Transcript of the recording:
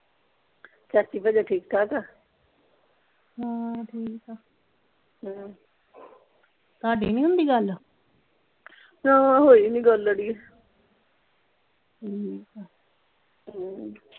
ਚਾਚੀ ਭਜਨੋਂ ਠੀਕ ਠਾਕ ਆ ਹਾਂ ਠੀਕ ਆ ਹਮ ਤੁਹਾਡੀ ਨਹੀਂ ਹੁੰਦੀ ਗੱਲ ਨਾਂ ਹੋਈ ਨਹੀਂ ਗੱਲ ਅੜੀਏ ਠੀਕ ਆ ਹਮ